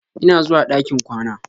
Ina zuwa ɗakin kwana.